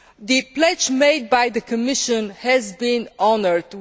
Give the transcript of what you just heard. The pledge made by the Commission has been honoured.